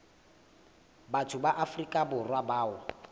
batho ba afrika borwa bao